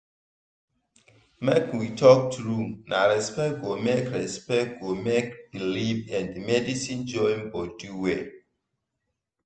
make we talk true na respect go make respect go make belief and medicine join body well.